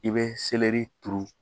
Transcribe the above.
I bɛ turu